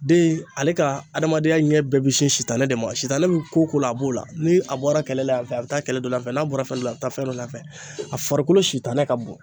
Den ale ka adamadenya ɲɛ bɛɛ be sin sitanɛ de ma, sitanɛ be ko o ko la a b'o la. Ni a bɔra kɛlɛ la yanfɛ a bɛ taa kɛlɛ dɔ la anfɛ n'a bɔra fɛn dɔ la a bɛ taa fɛn dɔ la anfɛ. A farikolo sitanɛ ka bon.